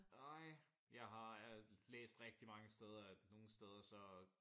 Nej jeg har øh læst rigtig mange steder at nogen steder så